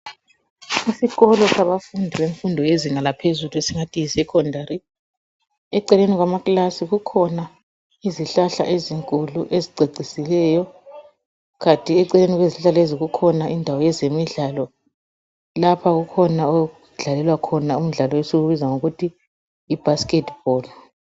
Isikolo sabafundi bemfundo yezinga laphezulu esingathi yisecondary eceleni kwamakilasi kukhona izihlahla ezinkulu ezicecisileyo kanti eceleni kwezihlahla lezo kukhona indawo ezemidlala lapho okukhona okudlalela khona umdlalo esiwubiza ngokuthi yibasket ball.